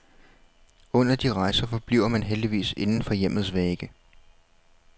Og under de rejser forbliver man heldigvis inden for hjemmets vægge.